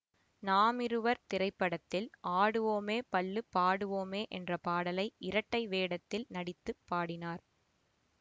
நாம் இருவர் திரைப்படத்தில் ஆடுவோமே பள்ளு பாடுவோமே என்ற பாடலை இரட்டை வேடத்தில் நடித்து பாடினார்